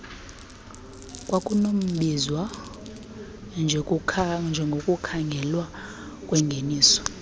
kukwanokubizwa njengokukhangelwa kwengeniso